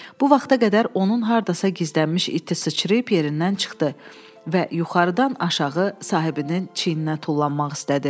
Bu vaxta qədər onun hardasa gizlənmiş iti sıçrayıb yerindən çıxdı və yuxarıdan aşağı sahibinin çiyninə tullanmaq istədi.